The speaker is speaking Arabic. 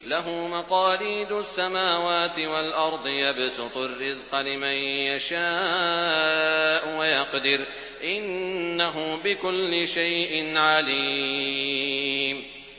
لَهُ مَقَالِيدُ السَّمَاوَاتِ وَالْأَرْضِ ۖ يَبْسُطُ الرِّزْقَ لِمَن يَشَاءُ وَيَقْدِرُ ۚ إِنَّهُ بِكُلِّ شَيْءٍ عَلِيمٌ